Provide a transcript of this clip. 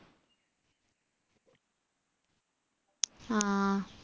ആ